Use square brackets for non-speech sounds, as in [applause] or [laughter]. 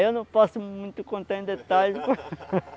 Aí não posso muito contar em detalhes [laughs]